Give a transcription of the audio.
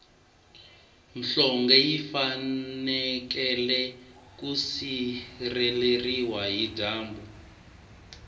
nhlonge yi fanekele ku sireleriwa hi dyambu